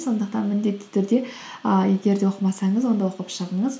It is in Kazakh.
сондықтан міндетті түрде ыыы егер де оқымасаңыз онда оқып шығыңыз